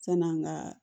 San'an ka